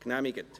Genehmigt.